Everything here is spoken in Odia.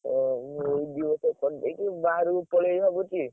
ଓହୋ! ଏଇ ଦି ବର୍ଷ କରି ଦେଇକି ବାହାରକୁ ପଳେଇବି ଭାବୁଛି।